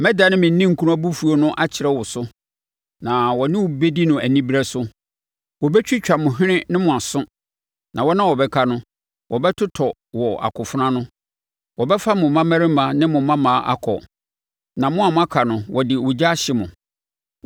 Mɛdane me ninkunu abufuo no akyerɛ wo so, na wɔne wo bɛdi no anibereɛ so. Wɔbɛtwitwa mo hwene ne mo aso, na wɔn a wɔbɛka no, wɔbɛtotɔ wɔ akofena ano. Wɔbɛfa mo mmammarima ne mo mmammaa akɔ, na mo a moaka no wɔde ogya ahye mo.